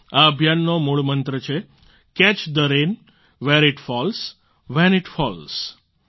આ અભિયાનનો મૂળ મંત્ર છે catch the rain where it falls when it false